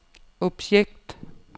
objekt